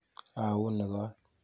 Auni kot.